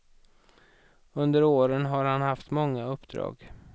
Under åren har han haft många uppdrag.